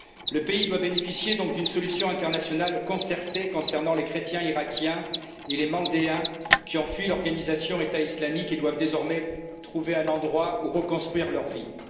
Le pays doit donc bénéficier d'une solution internationale concertée au profit des chrétiens irakiens et des Mandéens, qui ont fui l'organisation État islamique et doivent désormais trouver un endroit où reconstruire leur vie.